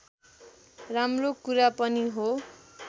राम्रो कुरा पनि हो